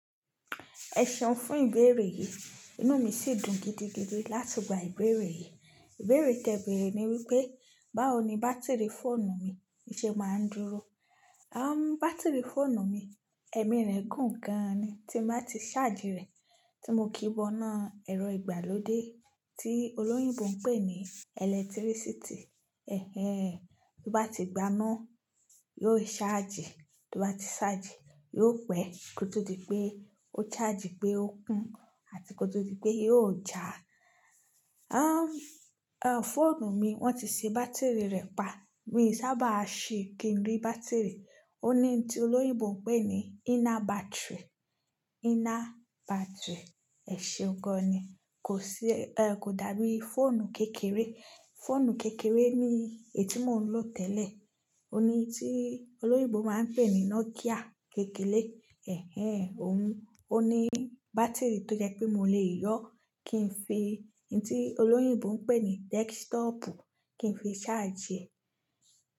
Ẹ seun fún ìbéèrè yìí, inú mi sì dùn gidigidi láti gba ìbéèrè yìí. Ìbéèrè tẹ ìbéèrè ní wípé, báwo ni bátìrì fóònù mi ṣe máa ń dúró? Bátìrì fóònù mi, ẹmi rẹ̀ gùn gan ni tí m bá ti ṣáàjì rẹ̀ tí mo kíbọná ẹ̀rọ ìgbàlódé tí olóyìnbo ń pè ní ẹlẹ́tírísìtì. Bó bá ti gbaná, yóò ṣáàjì, tó bá ti ṣáàjì, yóò pẹ́ kó tó di pé ó ṣáàjì pé ó kún àti kó tó di pé yóò já. Fóònù mi wọ́n ti ṣe bátìrì rẹ̀ pa, mi sábà sí kí n rí bátìrì. Óun ní tí olóyìnbó ń pè ní inner battery, inner battery, ẹ ṣeun gan ni, kò dàbí fóònù kékeré. Fóònù kékeré ni èyí tí mò ń lò tẹ́lẹ̀, óun ní tí olóyìnbó máa ń pè ní Nokia kékeré. Ó ní bátìrì tó jẹ́ pé mo lè yọ́ kí n fi un tí olóyìnbó ń pè ní desktop kí n fi ṣáàjì rẹ̀